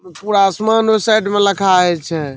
पूरा आसमान ओय साइड में लखा हई छै ।